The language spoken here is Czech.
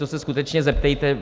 To se skutečně zeptejte.